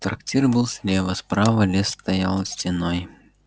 трактир был слева справа лес стоял стеной